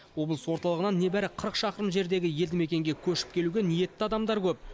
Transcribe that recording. облыс орталығынан небәрі қырық шақырым жердегі елді мекенге көшіп келуге ниетті адамдар көп